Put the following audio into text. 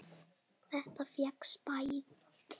Þetta fékkst bætt.